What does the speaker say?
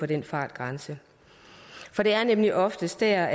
den fartgrænse for det er nemlig oftest der